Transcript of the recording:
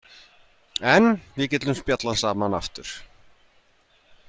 En við getum spjallað saman aftur.